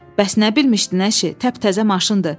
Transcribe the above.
Bəs nə bilmişdin əşi, təptəzə maşındır.